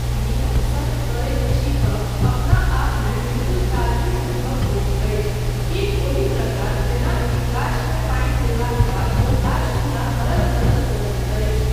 नियमक सङ्ग करैत छी तँ अपना आपमे बिल्कुल ताजगी अनुभव होइत अछि, ठीक ओहि प्रकार जेनाकि गाछमे पानि देलाक बाद ओ गाछ पूरा हरल भरल रहैत अछि।